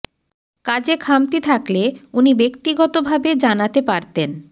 কাজে খামতি থাকলে উনি ব্যক্তিগত ভাবে জানাতে পারতেন